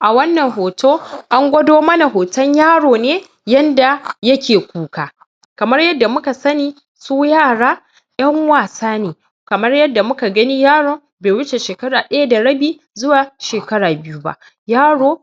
a wannan hoto an gwado mana hotan yaro ne yanda yake kuka kamar yadda muka sani su yara 'yan wasa ne kamar yadda muka gani yaron bai wuce shekara daya da rabi zuwa shekara biyu ba yaro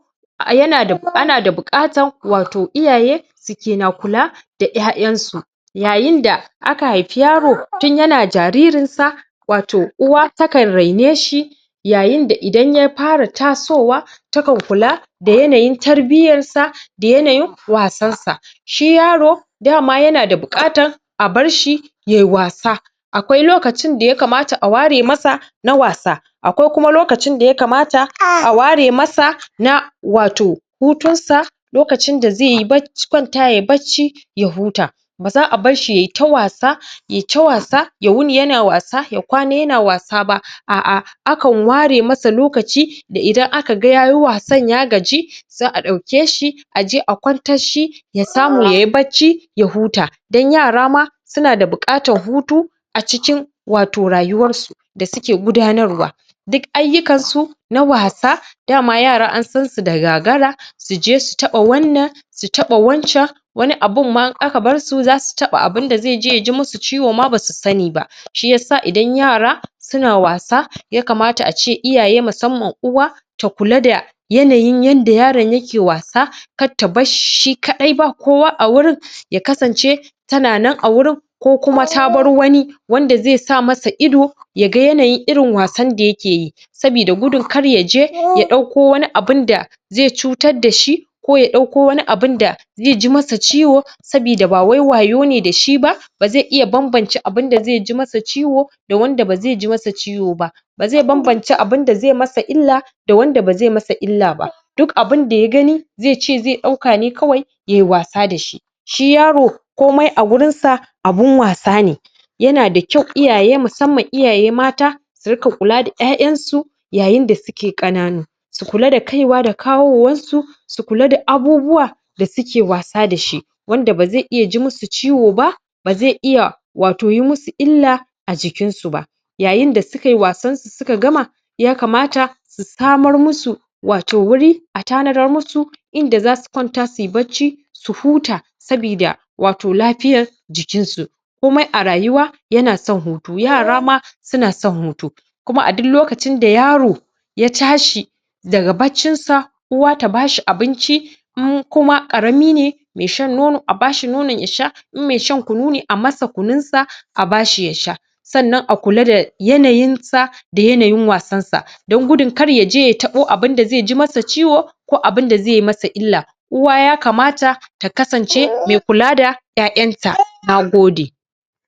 ana da bukatan wato iyaye sikina kula da 'ya 'yan su yayin da aka haifi yaro tun yana jaririn sa wato uwa takan raine shi yayin da idan ya fara taso wa takan kula da yanayin tarbiyan sa da yanayin wasan sa shi yaro dama yanada bukatan a bar shi yayi wasa akwai lokacin da ya kamata a ware masa na wasa akwai kuma lokacin da ya kamata a ware masa na wato hutun sa lokacin da zai kwata yayi bacci ya huta baza a bar shi yayi ta wasa yayi ta wasa ya wuni yana wasa ya kwana yana wasa ba ah ah akan ware masa lokaci da idan an kaga yayi wasan ya gaji za'a dauke shi aje a kwantar shi ya samu yayi bacci ya huta dan yara ma sunada bukatan hutu a cikin wato rayuwar su da suke gudanarwa duk ayyukan su na wasa dama yara an san su da gagara suje su taba wannan su taba wancan wani abun ma in aka bar su zasu taba abun da zai ji musu ciwo basu sani ba shiyasa idan yara suna wasa ya kamata a ce iyaye musamman uwa ta kula da yanayin yanda yaran yake wasa kar ta barshi shishi kadai ba kowa a gurin ya kasance tana nan a gurin ko kuma ta bar wani wanda zai sama sa ido yaga yanayin irin wasan da yake yi sabida gudun kar yaje ya dauko wani abunda zai cutar dashi ko ya dauko wani abunda zai ji masa ciwo sabida ba wai wayo ne dashi ba ba zai iya ban ban ce abunda zai iya ji masa ciwo da wanda bazai ji masa ciwo ba bazai banbance abunda zai masa illa da wanda ba zai masa illa ba duk abunda ya gani zai ce zai dauka ne kawai yayi wasa dahi shi yaro komai a gurin sa abun wasa ne yanada kyau iyaye musamman iyaye mata su ringa kula d 'ya 'yan su yayin da suke kananu su kula da kaiwa da kawowan su su kula da abubuwa da suke wasa dashi wanda ba zai iya ji musu ciwo ba ba zai iya wato yi musu illa a jikin su ba yayin da sukayi wasan su suka gama ya kamata su samar musu wato wuri a tanadar musu inda zasu kwata suyi bacci su huta sabida wato lafiyan jikin su komai a rayuwa yanason hutu yara ma suna san hutu kuma a duk lokaci da yaro ya tashi daga baccin sa uwa ta bashi abinci in kuma karami ne mai shan nono a bashi nonon ya sha in mai shan kunu ne a masa kunun sa bashi ya sha sannan a kula da yanayin sa a kula da yanayin wasan sa dan gudun kar yaje ya tabo abun da zai ji masa ciwo ko abunda zai masa illa uwa ya kamata ta kasance mai kula da 'ya 'yan ta nagode